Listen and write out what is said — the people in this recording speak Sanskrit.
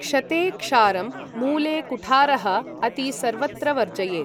क्षते क्षारं मूले कुठारः अति सर्वत्र वर्जयेत् ।